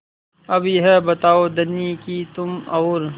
अब यह बताओ धनी कि तुम और